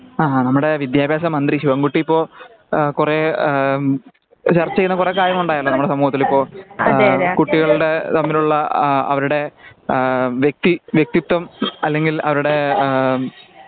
ആഹാ നമ്മുടെ വിദ്ത്യഭ്യാസ മന്ത്രി ശിവൻകുട്ടി ഇപ്പോൾ കുറെ ചർച്ച ചെയ്യുന്ന ആ കുറെ കാര്യങ്ങൾ ഉണ്ടായല്ലോ? നമ്മുടെ സമൂഹത്തിലിപ്പോ കുട്ടികളുടെ തമ്മിലുള്ള അവരുടെ ആ വ്യക്തി വ്യക്തിത്വം അല്ലങ്കിൽ അവരുടെ ആം.